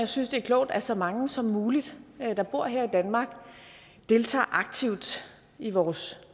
synes det er klogt at så mange som muligt der bor her i danmark deltager aktivt i vores